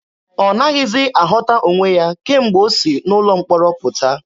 Ọ naghịzi aghọta onwe ya kemgbe o si n'ụlọ mkpọrọ pụta.